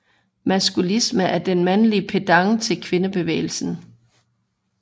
Maskulisme er den mandlige pendant til kvindebevægelsen